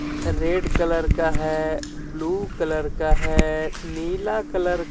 red colour का हे blue colour का हे नीला कलर --